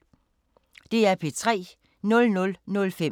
DR P3